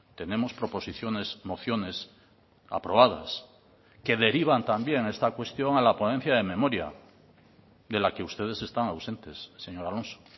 tenemos proposiciones mociones aprobadas que derivan también esta cuestión a la ponencia de memoria de la que ustedes están ausentes señora alonso